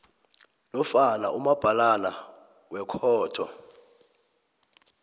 nofana umabhalana wekhotho